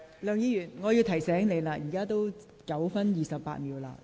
梁議員，我提醒你，你已發言9分28秒。